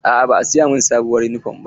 Aa ba a siya min sabuwar yunifom ba.